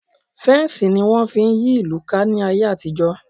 Fensi ni wọn fi ń yí ìlú ká ní ayé àtijó